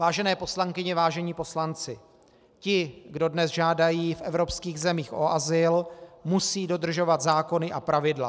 Vážené poslankyně, vážení poslanci, ti, kdo dnes žádají v evropských zemích o azyl, musí dodržovat zákony a pravidla.